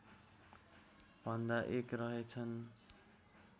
भन्दा एक रहेछन्